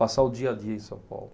Passar o dia a dia em São Paulo.